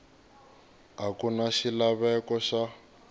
a ku na xilaveko xa